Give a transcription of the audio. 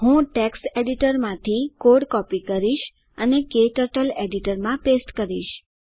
હું ટેક્સ્ટ એડિટરમાંથી code copy કરીશ અને ક્ટર્ટલ એડિટરમાં પેસ્ટ કરીશ